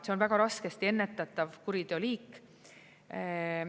See on väga raskesti ennetatav kuriteo liik.